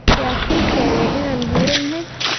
Yaa kuu sheegay inaan buuran ahay?